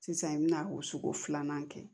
Sisan i bɛna o sugu filanan kɛ